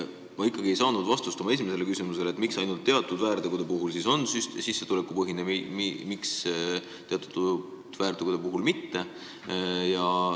Ma ikkagi ei saanud vastust oma esimesele küsimusele, miks ainult teatud väärtegude korral on trahv sissetulekupõhine ja miks teatud väärtegude korral nii ei ole.